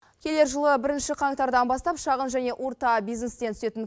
келер жылы бірінші қаңтардан бастап шағын және орта бизнестен түсетін